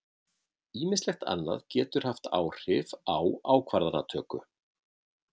Ýmislegt annað getur haft áhrif á ákvarðanatöku.